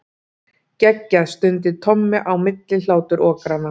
Geggjað stundi Tommi á milli hláturrokanna.